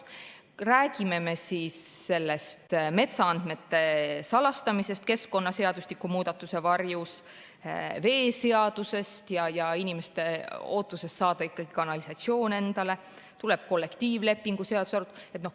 Räägime siis metsaandmete salastamisest keskkonnaseadustiku muudatuse varjus või veeseadusest ja inimeste ootusest saada ikkagi endale kanalisatsioon, tuleb ka kollektiivlepingu seaduse arutelu.